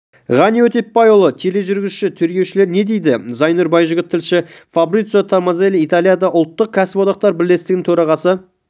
ғани өтепбайұлы тележүргізуші тергеушілер не дейді зайнұр байжігіт тілші фабрицио томазелли италияның ұлттық кәсіподақтар бірлестігінің төрағасы